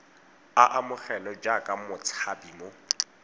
a amogelwe jaaka motshabi mo